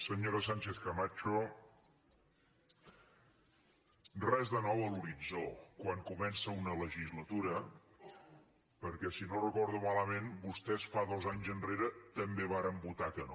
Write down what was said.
senyora sánchez camacho res de nou a l’horitzó quan comença una legislatura perquè si no ho recordo malament vostès dos anys enrere també varen votar que no